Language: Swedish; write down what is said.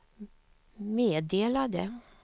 meddelade